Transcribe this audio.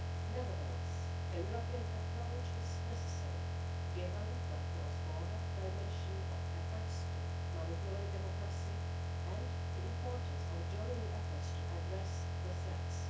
Nevertheless, a European approach is necessary given the cross border dimension of efforts to manipulate democracy and the importance of joining efforts to address the threats.